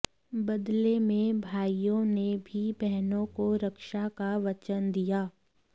बदले में भाइयों ने भी बहनों को रक्षा का वचन दिया